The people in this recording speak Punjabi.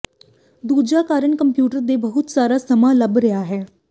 ਦੂਜਾ ਕਾਰਨ ਕੰਪਿਊਟਰ ਤੇ ਬਹੁਤ ਸਾਰਾ ਸਮਾਂ ਲੱਭ ਰਿਹਾ ਹੈ